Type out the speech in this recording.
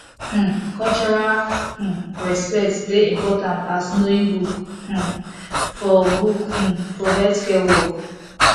um cultural um respect dey important as knowing book um for book um for healthcare work